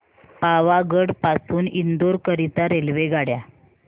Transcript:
पावागढ पासून इंदोर करीता रेल्वेगाड्या